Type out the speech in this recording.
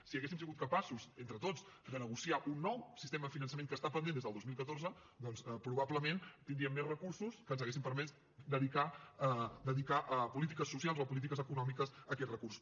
si haguéssim sigut capaços entre tots de negociar un nou sistema de finançament que està pendent des del dos mil catorze doncs probablement tindríem més recursos que ens haurien permès dedicar a polítiques socials o a polítiques econòmiques aquests recursos